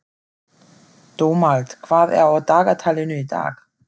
Dómald, hvað er á dagatalinu í dag?